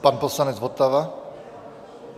Pan poslanec Votava.